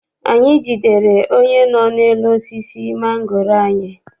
Anyị jidere onye nọ n'elu osisi mangoro anyị.